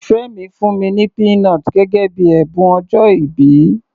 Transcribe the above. Ìfẹ́ mi fún mi ní peanut gẹ́gẹ́ bíi ẹ̀bùn ọjọ́ìbí.